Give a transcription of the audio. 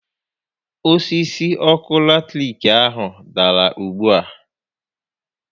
Osisi ọkụ latiriki ahụ dàrà ugbu a